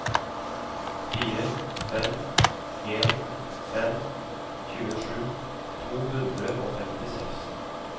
fire fem en fem tjuesju to hundre og femtiseks